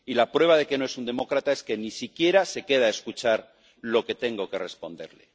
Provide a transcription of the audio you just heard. y la prueba de que no es un demócrata es que ni siquiera se queda a escuchar lo que tengo que responderle.